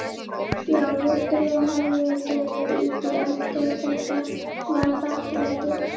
Já, Viktoría hafði gefið Dídí allt og þetta var þakklætið.